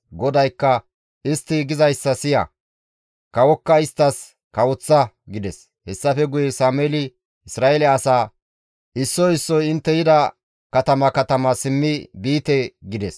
GODAYKKA, «Istti gizayssa siya; kawokka isttas kawoththa» gides; hessafe guye Sameeli Isra7eele asaa, «Issoy issoy intte yida katama katama simmi biite» gides.